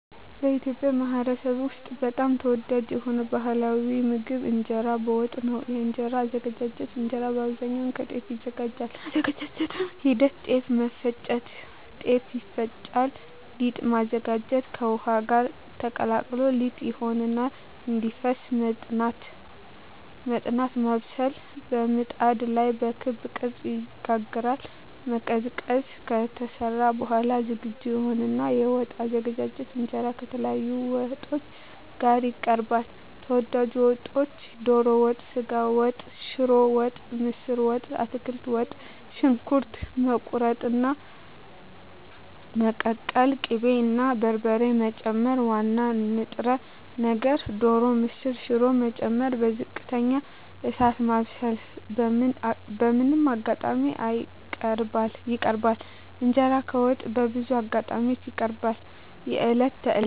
በኢትዮጵያ ማኅበረሰብ ውስጥ በጣም ተወዳጅ የሆነው ባሕላዊ ምግብ እንጀራ በወጥ ነው። የእንጀራ አዘገጃጀት እንጀራ በአብዛኛው ከጤፍ ይዘጋጃል። የአዘገጃጀት ሂደት ጤፍ መፍጨት – ጤፍ ይፈጫል ሊጥ ማዘጋጀት – ከውሃ ጋር ተቀላቅሎ ሊጥ ይሆናል እንዲፈስ መጥናት (ማብሰል) – በምጣድ ላይ በክብ ቅርጽ ይጋገራል መቀዝቀዝ – ከተሰራ በኋላ ዝግጁ ይሆናል የወጥ አዘገጃጀት እንጀራ ከተለያዩ ወጦች ጋር ይቀርባል። ተወዳጅ ወጦች ዶሮ ወጥ ስጋ ወጥ ሽሮ ወጥ ምስር ወጥ አትክልት ወጥ . ሽንኩርት መቁረጥና መቀቀል ቅቤ እና በርበሬ መጨመር ዋና ንጥረ ነገር (ዶሮ፣ ምስር፣ ሽሮ…) መጨመር በዝቅተኛ እሳት ማብሰል በምን አጋጣሚዎች ይቀርባል? እንጀራ ከወጥ በብዙ አጋጣሚዎች ይቀርባል፦ የዕለት ተዕለት ምግብ የበዓላት (መስቀል፣ ገና፣ ፋሲካ፣ ኢድ)